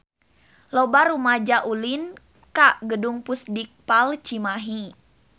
Loba rumaja ulin ka Gedung Pusdikpal Cimahi